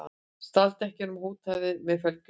Stal dekkjum og hótaði með felgulykli